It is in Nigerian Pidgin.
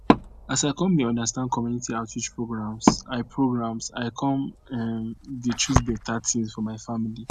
as i come dey understand community outreach programs i programs i come um dey choose better things for my family